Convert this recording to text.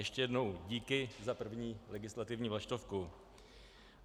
Ještě jednou, díky za první legislativní vlaštovku.